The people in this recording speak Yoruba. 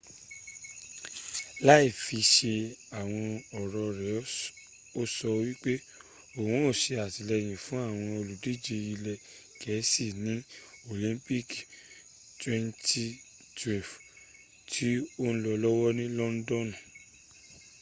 láìfisẹ àwọn ọ̀rọ̀ re o sọ wípé òhun o sàtìlẹyìn fún àwọn òlùdíjẹ ilẹ gẹ̀ẹ́sí ní olimpiki 2012 tí o n lọ lọ́wọ́ ni londonu